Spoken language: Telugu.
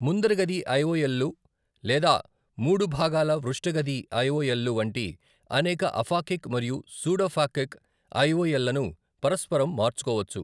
ముందరి గది ఐఓఎల్ లు లేదా మూడు భాగాల పృష్ఠ గది ఐఓఎల్లు వంటి అనేక అఫాకిక్ మరియు సూడోఫాకిక్ ఐఓఎల్లను పరస్పరం మార్చుకోవచ్చు.